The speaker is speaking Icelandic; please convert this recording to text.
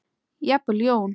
Jafnvel Jón